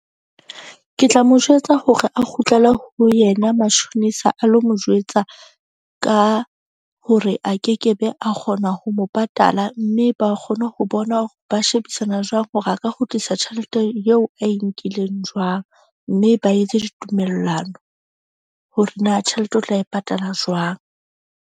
Ke tla mo jwetsa hore a kgutlele ho yena matjhonisa a lo mo jwetsa ka hore a kekebe a kgona ho mo patala. Mme ba kgone ho bona hore ba shebisana jwang hore a ka kgutlisa tjhelete eo ae nkileng jwang. Mme ba etse ditumellano hore na tjhelete o tla e patala jwang.